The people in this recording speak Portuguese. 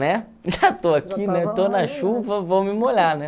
Né? Já estou aqui, né, estou na chuva, vou me molhar, né?